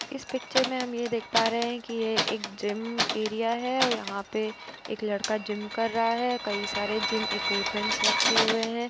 इस पिक्चर में हम ये देख पा रहे हैं कि ये एक जिम एरिया है और यहाँ पे एक लड़का जिम कर रहा है। कई सारे जिम इक्विपमेंट्स रखे हुए हैं।